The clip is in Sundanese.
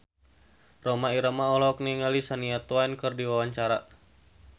Rhoma Irama olohok ningali Shania Twain keur diwawancara